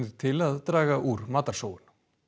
til að draga úr matarsóun